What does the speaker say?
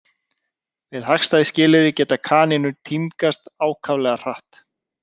Við hagstæð skilyrði geta kanínur tímgast ákaflega hratt.